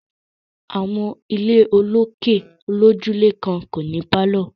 Àwọn ilé olókè olójúlé kan kò ní pálọ̀